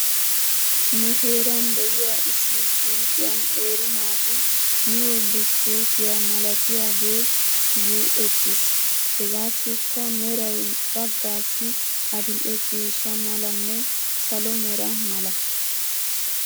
Nu heeran de'iyaa issi suyqqiyan qeeri naati miyoo buskkutiyaa malatiyaagee yiuttis. Hegaassikka meray bagaassi adil'e ciishsha malanne salo mera mala.